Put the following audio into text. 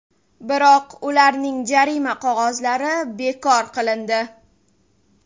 Biroq ularning jarima qog‘ozlari bekor qilindi.